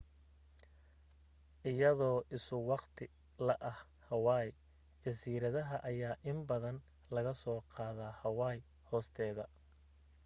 iyagoo isu waqti la ah hawaii jasiiradaha ayaa in badan lagasoo qaadaa hawaii hoosteeda